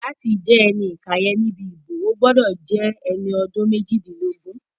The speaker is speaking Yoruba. Láti jẹ́ ẹni ìkàyẹ̀ níbi ìbò, o gbọ́dọ̀ jẹ́ ẹni ọdún méjìdínlógún